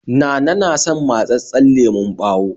Nana na son matsatssen lemon ɓawo